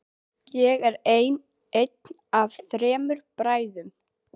Ég er einn af þremur bræðrum.